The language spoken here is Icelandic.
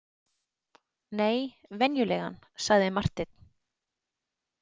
Nei, venjulegan, sagði Marteinn.